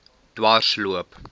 dwarsloop